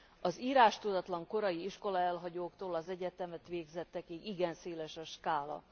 Az írástudatlan korai iskolaelhagyóktól az egyetemet végzettekig igen széles a skála.